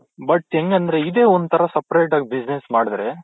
but ಹೆಂಗಂದ್ರೆ ಇದೆ ಒಂಥರಾ separate ಆಗ್ business ಮಾಡಿದ್ರೆ